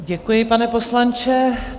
Děkuji, pane poslanče.